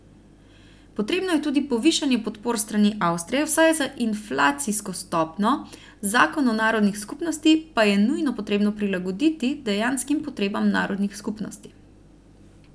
Potrebno je tudi povišanje podpor s strani Avstrije vsaj za inflacijsko stopnjo, zakon o narodnih skupnostih pa je nujno potrebno prilagoditi dejanskim potrebam narodnih skupnosti.